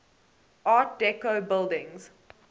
art deco buildings